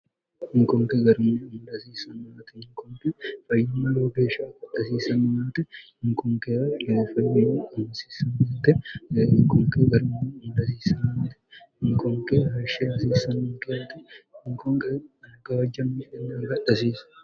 hinkonke garme lsiismte hinkon0e fayimmaloo geeshsha koxasismomte hinkonke lofmy siissmtehinkonke garma ulsiismate hinkonke hashshe hasiismnkte hinkonqe algaajjammikennagadhasiisa